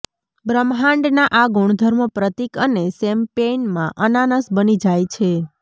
બ્રહ્માંડના આ ગુણધર્મો પ્રતીક અને શેમ્પેઈન માં અનાનસ બની જાય છે